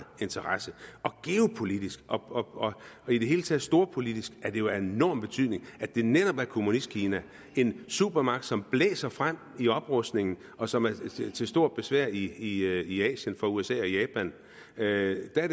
interesse og geopolitisk og i det hele taget storpolitisk er det jo af enorm betydning at det netop handler om kommunistkina en supermagt som blæser frem i oprustningen og som er til stort besvær i i asien for usa og japan det er